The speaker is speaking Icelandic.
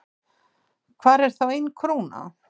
Hvar er þá ein króna?